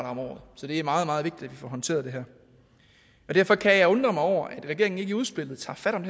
om året så det er meget meget vigtigt at vi får håndteret det her derfor kan jeg undre mig over at regeringen ikke i udspillet tager fat om